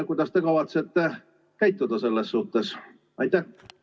Kuidas te kavatsete selles suhtes käituda?